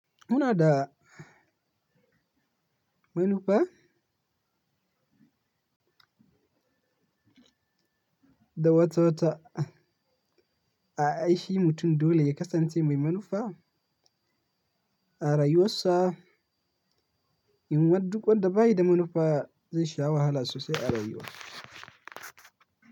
Muna da manufa da wata wata a aishi mutum dole ya kasance mai manufa a rayuwarsa. In wad duk wadda ba yi da manufa zai sha wahala sosai a rayuwa.